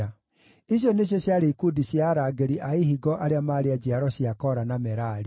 Icio nĩcio ciarĩ ikundi cia arangĩri a ihingo arĩa maarĩ a njiaro cia Kora na Merari.